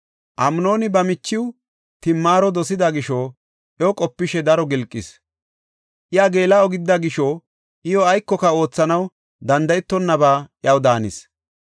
Amnooni ba michiw Timaaro dosida gisho iyo qopishe daro gilqis. Iya geela7o gidida gisho iyo aykoka oothanaw danda7etonnaba iyaw daanis.